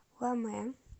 ломе